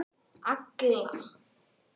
Agla